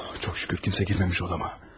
Çox şükür kimsə girməmiş otağıma.